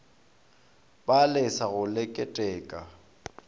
ba lesa go le keteka